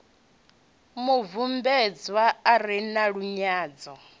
mubvumbedzwa a re na lunyadzo